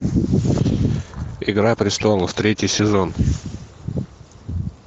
игра престолов третий сезон